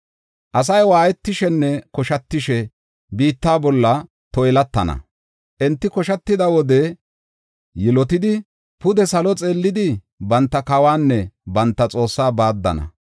Asay waayetishenne koshatishe biitta bolla toylatana. Enti koshatida wode yilotidi, pude salo xeellidi banta kawanne banta Xoossaa baaddana.